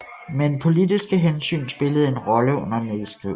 Men politiske hensyn spillede en rolle under nedskrivningen